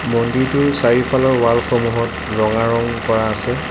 মন্দিৰটোৰ চাৰিওফালৰ ৱাল সমূহত ৰঙা ৰং কৰা আছে।